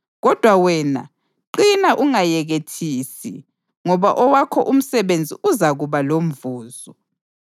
Kodwa wena, qina ungayekethisi, ngoba owakho umsebenzi uzakuba lomvuzo.”